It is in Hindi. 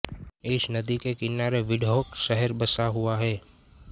इस नदी के किनारे विंडहॉक शहर बसा हुआ है